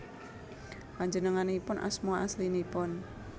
Panjenenganipun asma aslinipun